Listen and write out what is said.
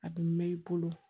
A bɛ mɛn i bolo